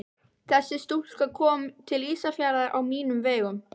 Þessi stúlka kom til Ísafjarðar á mínum vegum.